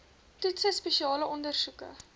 toetse spesiale ondersoeke